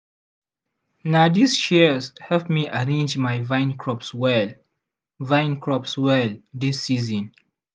na these shears help me arrange my vine crops well vine crops well this season.